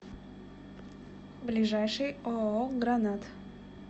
ближайший ооо гранат